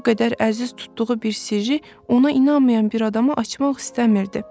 Bu qədər əziz tutduğu bir sirri ona inanmayan bir adama açmaq istəmirdi.